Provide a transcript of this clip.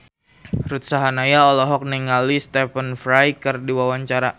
Ruth Sahanaya olohok ningali Stephen Fry keur diwawancara